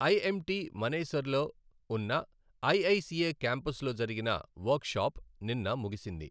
IMT మనేసర్లో ఉన్నఐఐసిఏ క్యాంపస్లో జరిగిన వర్క్షాప్ నిన్న ముగిసింది.